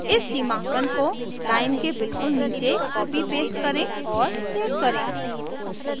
इस सीमांकन को लाइन के बिल्कुल नीचे कॉपीपेस्ट करें और सेव करें